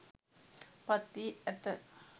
පත් වී ඇත